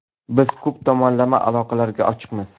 Biz ko‘p tomonlama aloqalarga ochiqmiz.